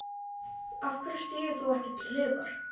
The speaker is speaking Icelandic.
Af hverju stígur þú ekki til hliðar?